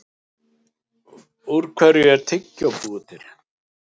Úr hverju er tyggjó búið til?